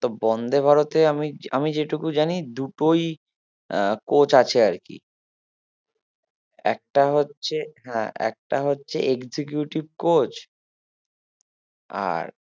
তো বন্দে ভারতে আমি আমি যে টুকু জানি দুটোই আহ coach আছে আর কি একটা হচ্ছে হ্যাঁ একটা হচ্ছে executive coach আর